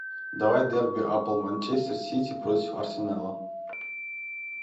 давай дерби апл манчестер сити против арсенала